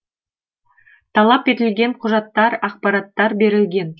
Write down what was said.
талап етілген құжаттар ақпараттар берілген